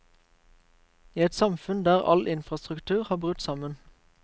I et samfunn der all infrastruktur har brutt sammen.